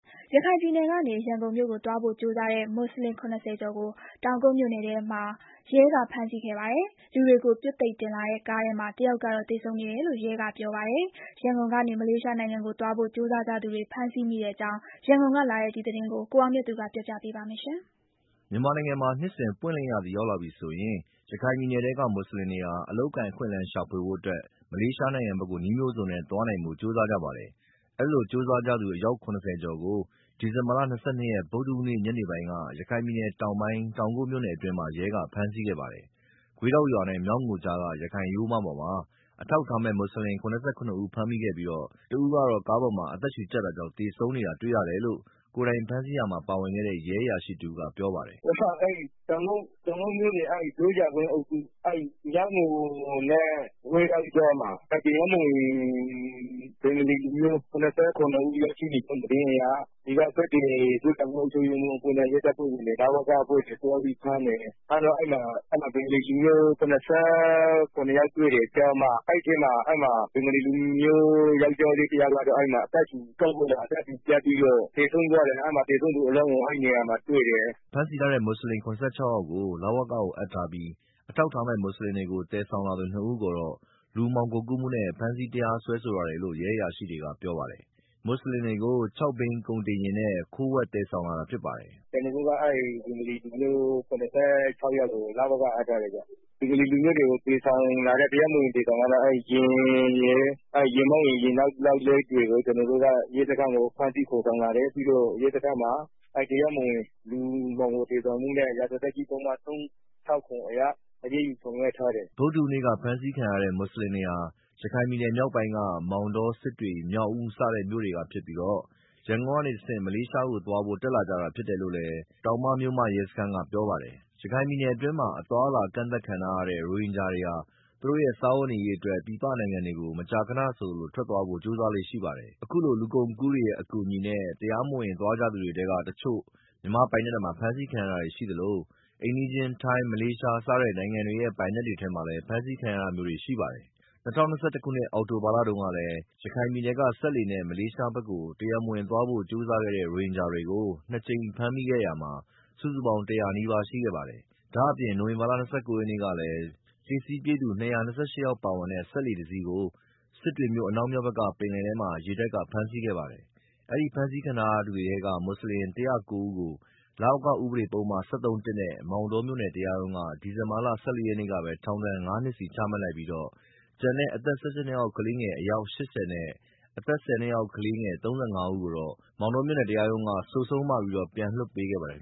ရခိုင်ပြည်နယ်ကနေ ရန်ကုန်မြို့ကို သွားဖို့ကြိုးစားတဲ့ မွတ်ဆလင် ၇၀ ကျော်ကို တောင်ကုတ်မြို့နယ်ထဲမှာ ရဲက ဖမ်းဆီးခဲ့ပါတယ်။ လူတွေကို ပြွတ်သိပ်တင်လာတဲ့ ကားထဲမှာ တယောက်ကတော့ သေဆုံးနေတယ်လို့ ရဲကပြောပါတယ်။ ရန်ကုန် ကနေ မလေးရှားနိုင်ငံကို သွားဖို့ကြိုးစားကြသူတွေဖမ်းဆီးမိတဲ့အကြောင်း ရန်ကုန် ကလာတဲ့သတင်းကို ကိုအောင်မြတ်သူက တင်ပြပေးထားပါတယ်။ မြန်မာနိုင်ငံမှာ နှစ်စဉ် ပွင့်လင်းရာသီရောက်လာပြီဆိုရင် ရခိုင်ပြည်နယ်ထဲက မွတ်ဆလင်တွေဟာ အလုပ်အကိုင် အခွင့်အလမ်းရှာဖို့ မလေးရှားနိုင်ငံဘက်ကို နည်းမျိုးစုံနဲ့သွားနိုင်ဖို့ ကြိုးစားကြပါတယ်။ အဲဒီလိုကြိုးစားကြသူ အယောက် ၇၀ ကျော်ကို ဒီဇင်ဘာ ၂၂ ရက် ဗုဒ္ဓဟူးနေ့ ညနေပိုင်းက ရခိုင်ပြည်နယ်တောင်ပိုင်း တောင်ကုတ်မြို့နယ်အတွင်းမှာ ရဲကဖမ်းဆီးခဲ့ပါတယ်။ ဂွေးတောက်ရွာနဲ့ မျော်ငိုကွေ့ကြား ရခိုင်ရိုးမပေါ်မှာ အထောက်အထားမဲ့ မွတ်ဆလင် ၇၇ ဦးကို ဖမ်းမိခဲ့ပြီး တဦးကတော့ ကားပေါ်မှာ အသက်ရှုကြပ်တာကြောင့် သေဆုံးနေတာတွေ့ရတယ်လို့ ကိုယ်တိုင်ဖမ်းဆီးရာမှာ ပါဝင်တဲ့ ရဲအရာရှိတဦးက ပြောပြပါတယ်။ “တောင်ကုတ်မြို့နယ် ဂျိုးကြာကွေ့အုပ်စု၊ မျောက်ငိုနဲ့ ဂွေးတောက်ကြားမှာ တရားမဝင် ဘင်္ဂါလီလူမျိုး ၇၇ ဦးရောက်ရှိနေတယ်ဆိုပြီးတော့ သတင်းကြားလို့ အုပ်ချုပ်ရေးမှူးအဖွဲ့နဲ့ ရဲတပ်ဖွဲ့ဝင်တွေ၊ လဝကအဖွဲ့တွေ သွားပြီးဖမ်းတယ်။ ဖမ်းတော့ အဲဒီမှာ ဘင်္ဂါလီလူမျိုး ၇၇ ယောက်တွေ့တယ်၊ ကျား မ၊ အဲမှာ ကျား တယောက်ကတော့ ကားပေါ်မှာ အသက်ရှူကြပ်ပြီးတော့ သေဆုံးသွားတယ်။ သေဆုံးသူအလောင်းကို အဲဒီနေရာမှာတွေ့တယ်။” ဖမ်းဆီးထားတဲ့ မွတ်ဆလင် ၇၆ ယောက်ကို လဝကကိုအပ်ထားပြီး အထောက်အထားမဲ့ မွတ်ဆလင်တွေကို သယ်ဆောင်လာသူ နှစ်ဦးကိုတော့လူမှောင်ခိုကူးမှုနဲ့ ဖမ်းဆီး တရားစွဲဆိုထားတယ်လို့ ရဲအရာရှိကပြောပါတယ်။ မွတ်ဆလင်တွေကို ၆ ဘီးကုန်တင်ယာဉ်နဲ့ ခိုးဝှက်သယ်ဆောင်လာတာဖြစ်ပါတယ်။ “ဖမ်းဆီးထားတဲ့ ဘင်္ဂါလီလူမျိုး ၇၆ ယောက်ကိုတော့ လဝကကို အပ်ထားတယ်ဗျာ။ သူတို့တွေကို တရားမဝင် တင်ဆောင်လာတဲ့ ယာဉ်မောင်းနဲ့ ယာဉ်နောက်လိုက်တွေကို ဖမ်းဆီး ခေါ်ဆောင်လာတယ်။ ပြီးတော့ ရဲစခန်းမှာ လူမှောင်ခို သယ်ဆောင်မှုနဲ့ ရာဇသတ်ကြီးပုဒ်မ ၃၆၇ အရ အရေးယူဆောင်ရွက်ထားတယ်။” ဗုဒ္ဓဟူးနေ့က ဖမ်းဆီးခံရတဲ့ မွတ်ဆလင်တွေဟာ ရခိုင်ပြည်နယ်မြောက်ပိုင်းက မောင်တော၊ စစ်တွေ၊မြောက်ဦး စတဲ့မြို့နယ်တွေကဖြစ်ပြီး ရန်ကုန်ကနေတဆင့် မလေးရှားကိုသွားဖို့ ထွက်လာကြတာဖြစ်တယ်လို့လည်း တောင်မမြို့မ ရဲစခန်းက ပြောပါတယ်။ ရခိုင်ပြည်နယ်အတွင်းမှာ အသွားအလာ ကန့်သတ်ခံထားရတဲ့ ရိုဟင်ဂျာတွေဟာ သူတို့ရဲ့ စားဝတ်နေရေးအတွက် ပြည်ပနိုင်ငံတွေကို မကြာခဏဆိုသလို ထွက်သွားဖို့ ကြိုးစားလေ့ရှိပါတယ်။ အခုလို လူကုန်ကူးတွေရဲ့ အကူအညီနဲ့ တရားမဝင် သွားကြသူတွေထဲကတချို့ မြန်မာ့ပိုင်နက်ထဲမှာ ဖမ်းဆီးခံရတာရှိသလို အိမ်နီးချင်း ထိုင်း၊ မလေးရှား စတဲ့နိုင်ငံတွေရဲ့ ပိုင်နက်တွေထဲမှာ ဖမ်းဆီးခံရတာမျိုးတွေလည်း ရှိခဲ့ပါတယ်။ ၂၀၂၁ ခုနှစ်၊ အောက်တိုဘာလတုန်းကလည်း ရခိုင်ပြည်နယ်ကနေ စက်လှေနဲ့ မလေးရှားဘက် တတရားမဝင်သွားဖို့ ကြိုးစားတဲ့ ရိုဟင်ဂျာတွေကို နှစ်ကြိမ် ဖမ်းမိခဲ့တာ စုစုပေါင်း ၁၀၀ နီးပါးရှိခဲ့ပါတယ်။ ဒါအပြင့် နိုဝင်ဘာလ ၂၉ရက်နေ့ကလည်း လှေစီးပြေးသူ ၂၂၈ ယောက်ပါတဲ့ စက်လှေတစီးကို စစ်တွေမြို့ အနောက်မြောက်ဘက် ပင်လယ်ထဲမှာ ရေတပ်က ဖမ်းဆီးခဲ့ပါတယ်။ အဲဒီဖမ်းဆီးထားသူတွေထဲက မွတ်ဆလင် ၁၀၉ ဦးကို လဝက ဥပဒေပုဒ်မ ၁၃-၁ နဲ့ မောင်တောမြို့နယ် တရားရုံးက ဒီဇင်ဘာလ ၁၄ ရက်နေ့ကပဲ ထောင်ဒဏ် ငါးနှစ်စီ ချမှတ်လိုက်ပြီး ကျန်တဲ့ အသက် ၁၈ နှစ်အောက်ကလေး အယောက် ၈၀ နဲ့ အသက် ၁၀ နှစ်အောက် ကလေး ၃၅ ဦးကိုတော့ မောင်တောမြို့နယ် တရားရုံးက ဆိုဆုံးမပြီးပြန်လွှတ်ပေးခဲ့ပါတယ်